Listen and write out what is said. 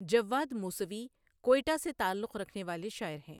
جواد موسوی کوئٹه سے تعلق رکھنے والے شاعر ہیں۔